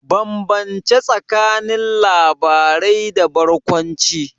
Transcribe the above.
Bambance tsakanin labarai da barkwanci.